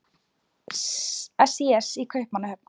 SÍS í Kaupmannahöfn.